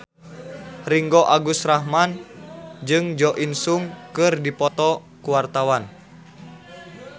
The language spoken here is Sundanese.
Ringgo Agus Rahman jeung Jo In Sung keur dipoto ku wartawan